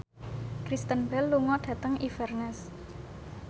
Kristen Bell lunga dhateng Inverness